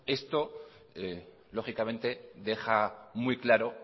esto lógicamente deja muy claro